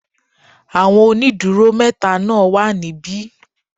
Àwọn ónìdúró métaa náà wà níbí